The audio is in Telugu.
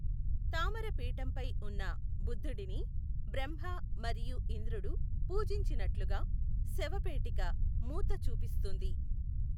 తామర పీఠంపై ఉన్న బుద్ధుడిని బ్రహ్మ మరియు ఇంద్రుడు పూజించినట్లుగా శవపేటిక మూత చూపిస్తుంది.